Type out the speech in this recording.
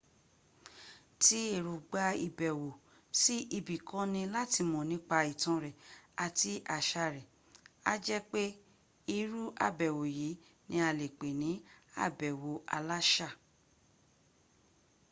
tí èróngbà ìbẹ̀wò sí ibi kan ní láti mọ̀ nípa ìtàn rẹ̀ ati àṣà rẹ̀ á jẹ́ pé ìrún àbẹ̀wò yìí ní a lè pè ní àbẹ̀wò aláṣà